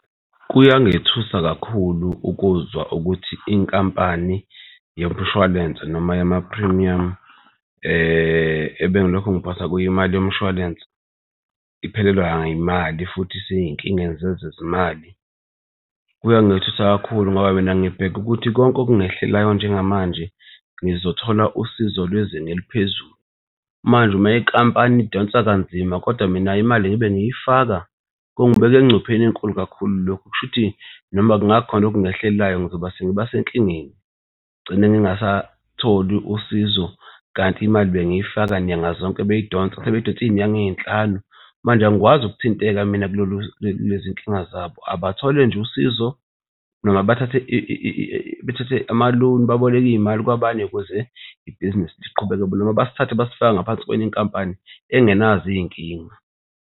Kuyangethusa kakhulu ukuzwa ukuthi inkampani yomshwalense noma yamaphrimiyamu ebengilokhu ngiphonsa kuyo imali yomshwalense iphelelwa yimali futhi isey'nkingeni zezezimali. Kuyangethusa kakhulu ngoba mina ngibheke ukuthi konke okungehlelayo njengamanje ngizothola usizo lwezinga eliphezulu, manje uma inkampani idonsa kanzima kodwa mina imali ngibe ngiyifaka kungibeka engcupheni enkulu kakhulu, kushuthi noma kungakhona okungehlelayo ngizoba sengiba senkingeni ngigcine ngingasatholi usizo kanti imali bengifaka nyanga zonke beyidonsa. Sebeyidonse iy'nyanga ey'nhlanu manje angikwazi ukuthinteka mina kulolu kulezi iy'nkinga zabo. Abathole nje usizo noma bathathe bathathe ama-loan baboleke iy'mali kwabanye ibhizinisi noma basithathe basifake ngaphansi kwenye inkampani engenazo iy'nkinga.